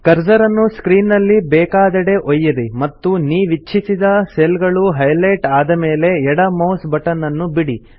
cursor ಅನ್ನು screen ನಲ್ಲಿ ಬೇಕಾದೆಡೆ ಒಯ್ಯಿರಿ ಮತ್ತು ನೀವಿಚ್ಛಿಸಿದ ಸೆಲ್ ಗಳು ಹೈಲೆಟ್ ಆದ ಮೇಲೆ ಎಡ ಮೌಸ್ ಬಟನ್ ಅನ್ನು ಬಿಡಿ